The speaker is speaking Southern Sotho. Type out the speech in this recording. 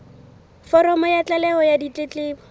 foromo ya tlaleho ya ditletlebo